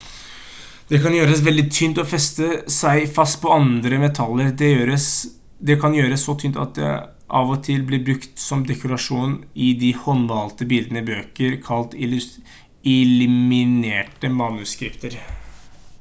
det kan gjøres veldig tynt og feste seg fast på andre metaller. det kan gjøres så tynt at det av og til ble brukt som dekorasjon i de håndmalte bildene i bøker kalt «illuminerte manuskripter»